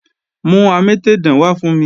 Mú amétèdán wá fún mi!